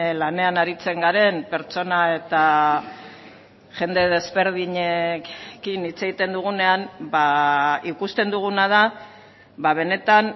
lanean aritzen garen pertsona eta jende desberdinekin hitz egiten dugunean ikusten duguna da benetan